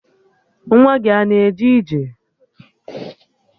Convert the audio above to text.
Nwa gị a na-aga ije?